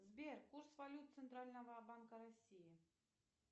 сбер курс валют центрального банка россии